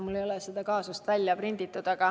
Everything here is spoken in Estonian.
Mul ei ole see kaasus välja trükitud.